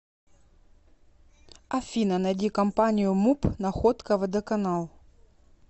афина найди компанию муп находка водоканал